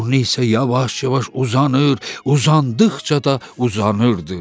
Burnu isə yavaş-yavaş uzanır, uzandıqca da uzanırdı.